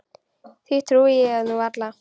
Því trúi ég nú varla.